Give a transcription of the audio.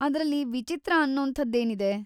ಅದ್ರಲ್ಲಿ ವಿಚಿತ್ರ ಅನ್ನೋಂಥದ್ದೇನಿದೆ?